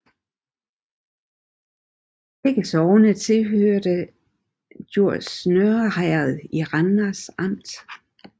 Begge sogne hørte til Djurs Nørre Herred i Randers Amt